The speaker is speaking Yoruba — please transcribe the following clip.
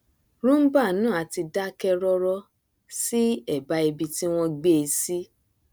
roomba náà a ti dákẹ rọrọ sí ẹbá ibi tí wọn gbé e sí